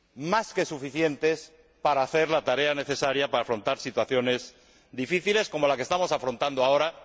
más que suficientes para hacer la tarea necesaria para afrontar situaciones difíciles como la que estamos afrontando ahora.